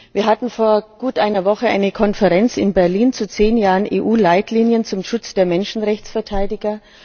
Wir hatten vor gut einer Woche eine Konferenz in Berlin zu zehn Jahren EU Leitlinien zum Schutz der Menschenrechtsverteidiger.